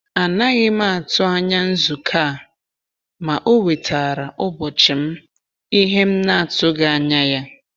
A naghị m atụ anya nzukọ a, ma ọ wetaara ụbọchị m ìhè m na-atụghị anya ya.